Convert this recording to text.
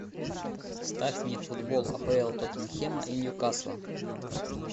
ставь мне футбол апл тоттенхэма и ньюкасла